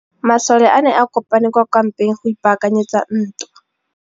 Masole a ne a kopane kwa kampeng go ipaakanyetsa ntwa.